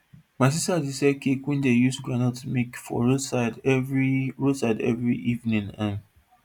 my sister dey sell dat cake wey dey use groundnut make for roadside every roadside every evening um